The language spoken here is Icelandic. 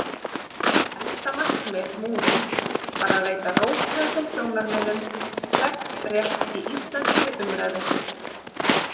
Helsta markmið Múrins var að veita róttækum sjónarmiðum þegnrétt í íslenskri umræðu.